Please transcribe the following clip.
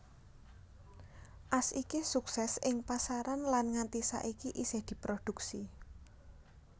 As iki suksès ing pasaran lan nganti saiki isih diproduksi